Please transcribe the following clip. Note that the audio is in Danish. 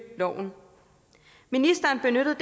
loven ministeren benyttede